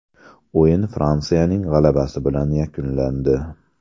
O‘yin Fransiyaning g‘alabasi bilan yakunlandi.